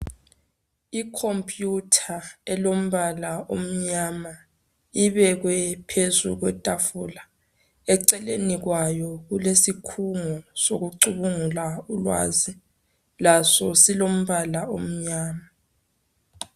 Ikhompuyutha elombala omnyama ibekwe phezulu kwetafula. Eceleni kwayo kulesikhungo sokucubungula ulwazi laso silombala omnyama.